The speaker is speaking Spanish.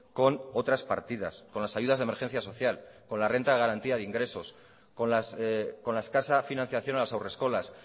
con otras partidas con las ayudas de emergencia social con la renta de garantía de ingresos con la escasa financiación a las haurreskolas